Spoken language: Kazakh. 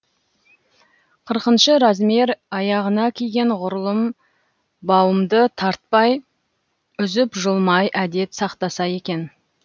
қырқыншы размер аяғына киген ғұрлым бауымды тартпай үзіп жұлмай әдеп сақтаса екен